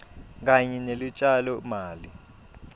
kanye nelutjalo mali